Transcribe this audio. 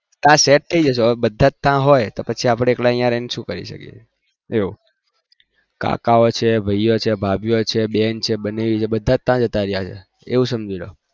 ત્યાં set થઇ જશે બધા ત્યાં હોય તો આપડે એકલા અહી રહીને શું કરીએ કાકા ઓં છે ભાઇઓં છે બેન છે ભાભી ઓં છે બનેવી હોય એવું સમજી લો